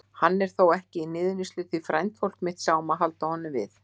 Hann er þó ekki í niðurníðslu því frændfólk mitt sá um að halda honum við.